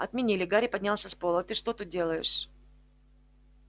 отменили гарри поднялся с пола а ты что тут делаешь